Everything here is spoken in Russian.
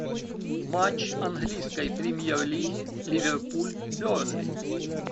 матч английской премьер лиги ливерпуль бернли